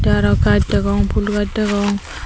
tey arow gaj degong pul gaj degong.